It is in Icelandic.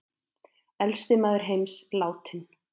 Elsti maður heims látinn